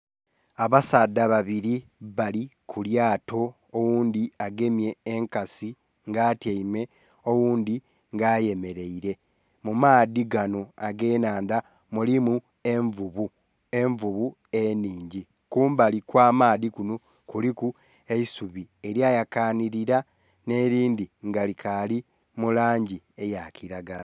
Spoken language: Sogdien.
Abasaadha babili bali kulyato oghundhi agemye enkasi nga atyeime oghundhi nga ayemerere, mumaadhi ganho age nhandha mulimu envuvu, envuvu enhingi kumbali okwamaadhi kunho kuliku eisubi elya yakanhilila nhe lindhi nga likali mulangi eya kilagala.